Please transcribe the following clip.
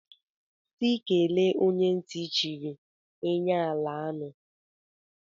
Si kele onye nti chiri, eny ala anu.